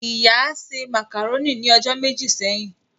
Ìyá se màkàrónì ni ọjọ́ méjì sẹ́yìn